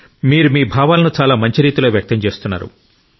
మీరు మీ భావాలను చాలా మంచి రీతిలో వ్యక్తం చేస్తున్నారు